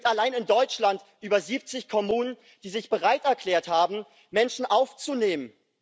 Es gibt allein in Deutschland über 70 Kommunen, die sich bereit erklärt haben, Menschen aufzunehmen.